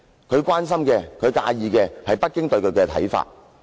他關心和介意的是北京對他的看法。